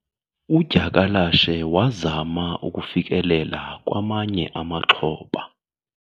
Udyakalashe wazama ukufikelela kwamanye amaxhoba.